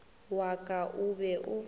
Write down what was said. wa ka o be o